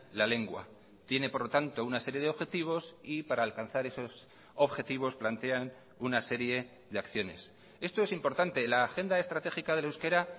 la lengua tiene por lo tanto una serie de objetivos y para alcanzar esos objetivos plantean una serie de acciones esto es importante la agenda estratégica del euskera